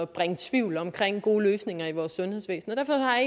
bringe tvivl omkring gode løsninger i vores sundhedsvæsen og derfor har